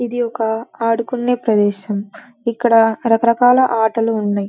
ఇది ఒక ఆడుకునే ప్రదేశం. ఇక్కడ రక రకాల ఆటలు ఉన్నాయ్.